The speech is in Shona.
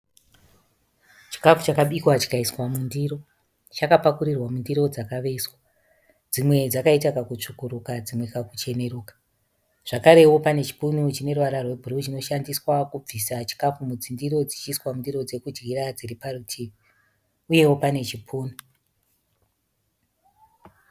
Chikafu chakabikwa chikaiswa mundiro. Chakapakurirwa mundiro dzakavezwa. Dzimwe dzakaita kakutsvukurika , dzimwe kakucheruka. Zvakarewo pane chipunu chineruvara rwebhuruwu chinoshandiswa kubvisa chikafu mudzindiro dzichiiswa mundiro dzokudyira dziri parutivi. Uyewo pane chipunu.